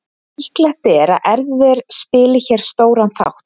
Líklegt er að erfðir spili hér stóran þátt.